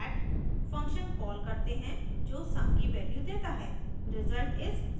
फिर sum stat function call करते हैं जो sum की value देता है